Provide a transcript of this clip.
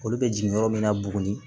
Olu bɛ jigin yɔrɔ min na buguni